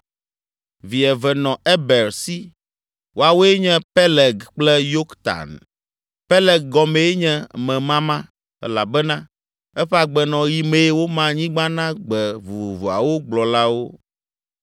Vi eve nɔ Eber si: Woawoe nye Peleg kple Yoktan. Peleg gɔmee nye “Memama” elabena eƒe agbenɔɣi mee woma anyigba na gbe vovovoawo gblɔlawo.